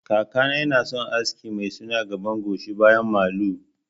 Kakana yana son aski mai suna gaba gashi baya malu